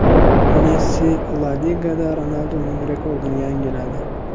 Messi La Ligada Ronalduning rekordini yangiladi.